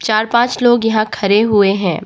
चार पांच लोग यहां खड़े हुए हैं।